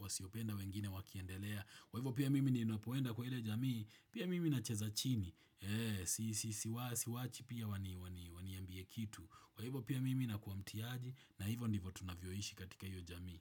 wasiopenda wengine wakiendelea. Kwahivo pia mimi ninapoenda kwa ile jamii, pia mimi na cheza chini. Siwachi pia waniambie kitu. Kwahivo pia mimi nakuwa mtiaji na hivo ndivo tunavyoishi katika iyo jamii.